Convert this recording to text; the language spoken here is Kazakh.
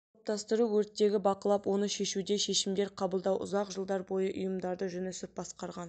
топтастыру өрттегі бақылап оны шешуде шешімдер қабылдау ұзақ жылдар бойы ұйымдарды жүнісов басқарған